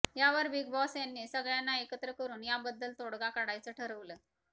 यावर big boss यांनी सगळ्यांना एकत्र करून याबद्दल तोडगा काढायचं ठरवलं